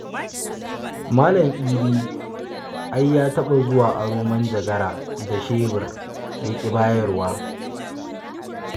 Malam Idi ai ya taɓa zuwa aron manjagara da shebir, ya ƙi bayarwa.